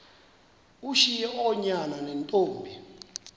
ushiye oonyana neentombi